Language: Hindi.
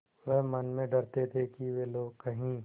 वह मन में डरते थे कि वे लोग कहीं